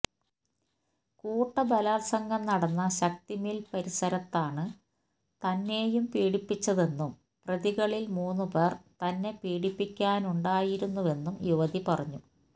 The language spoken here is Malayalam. കൂട്ടബലാത്സംഗം നടന്ന ശക്തി മില് പരിസരത്താണ് തന്നെയും പീഡിപ്പിച്ചതെന്നും പ്രതികളില് മൂന്നു പേര് തന്നെ പീഡിപ്പിക്കാനുണ്ടായിരുന്നുവെന്നും യുവതി പറഞ്ഞു